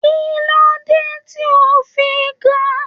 Kilode ti o fi ga?